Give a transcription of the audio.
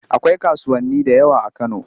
Akwai kasuwanni da yawa a Kano.